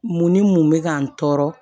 Mun ni mun bɛ ka n tɔɔrɔ